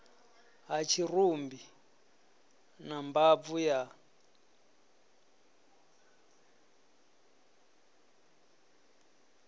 ha tshirumbi na mbabvu ya